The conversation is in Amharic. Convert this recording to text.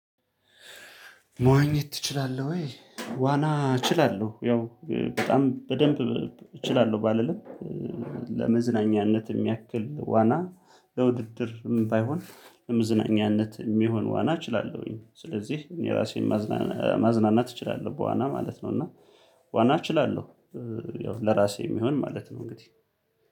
መዋኘት ትችላለህ ወይ? ዋና እችላለሁ ያው በጣም በደንብ እችላለሁ ባልልም ለመዝናኛነት የሚያክል ዋና ለውድድርም ባይሆን ለመዝናኛነት የሚሆን ዋና እችላለሁኝ። ስለዚህ እኔ ራሴን ማዝናናት እችላለሁ በዋና ማለት ነው። እና ዋና እችላለሁ ያው ለራሴ የሚሆን ማለት ነው። እንግዲህ